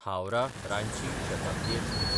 हावराह–रांची Shatabdi express